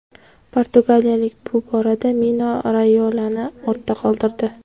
Portugaliyalik bu borada Mino Rayolani ortda qoldirdi.